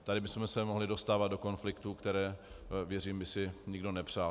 Tady bychom se mohli dostávat do konfliktů, které, věřím, by si nikdo nepřál.